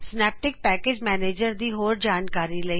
Synaptic package manager ਦੀ ਹੋਰ ਜਾਣਕਾਰੀ ਲਈ